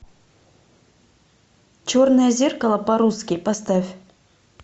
черное зеркало по русски поставь